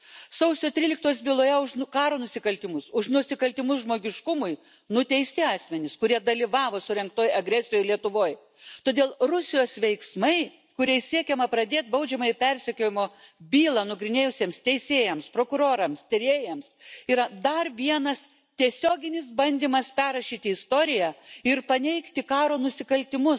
Sausio 13 osios byloje už karo nusikaltimus, už nusikaltimus žmogiškumui nuteisti asmenys, kurie dalyvavo surengtoje agresijoje Lietuvoje. Todėl Rusijos veiksmai, kuriais siekiama pradėti baudžiamojo persekiojimo bylą nagrinėjusiems teisėjams, prokurorams, tyrėjams, yra dar vienas tiesioginis bandymas perrašyti istoriją ir paneigti karo nusikaltimus,